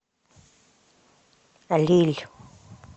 лилль